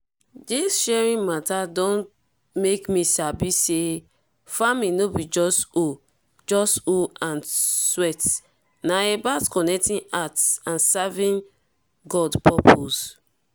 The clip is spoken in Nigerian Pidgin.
dis sharing mata don make me sabi say farming no be just hoe just hoe and sweat na about connecting hearts and serving god purpose